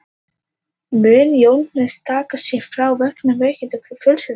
Mun Jóhannes taka sér frí vegna veikinda innan fjölskyldunnar.